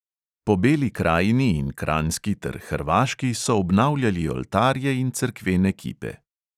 Po beli krajini in kranjski ter hrvaški so obnavljali oltarje in cerkvene kipe.